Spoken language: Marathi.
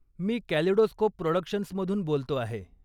मी कॅलिडोस्कोप प्रॉडक्शन्समधून बोलतो आहे.